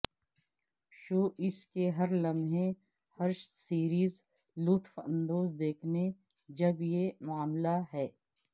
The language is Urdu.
شو اس کے ہر لمحے ہر سیریز لطف اندوز دیکھنے جب یہ معاملہ ہے